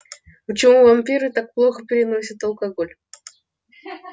почему вампиры так плохо переносят алкоголь